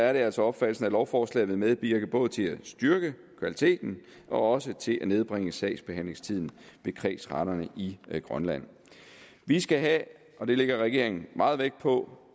er det altså opfattelsen at lovforslaget vil medvirke både til at styrke kvaliteten og også til at nedbringe sagsbehandlingstiden ved kredsretterne i grønland vi skal have og det lægger regeringen meget vægt på